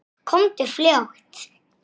Þar leið þeim best.